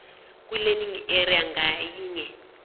kwilearning area ngayinye